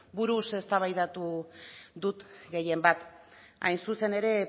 buruz eztabaidatu dut gehienbat hain zuzen ere